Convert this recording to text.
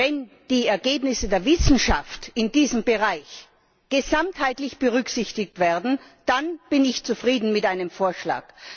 Wenn die Ergebnisse der Wissenschaft in diesem Bereich gesamtheitlich berücksichtigt werden, dann bin ich zufrieden mit einem Vorschlag.